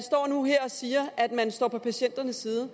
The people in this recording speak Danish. nu siger at man står på patienternes side